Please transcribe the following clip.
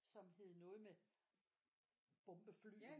Som hed noget med bombefly